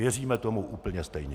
Věříme tomu úplně stejně.